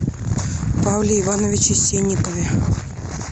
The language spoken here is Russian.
павле ивановиче сенникове